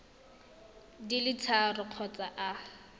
di le tharo kgotsa a